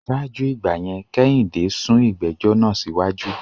Ṣáájú ìgbà yẹn, Kẹ́hìndé sún ìgbẹ́jọ́ náà síwájú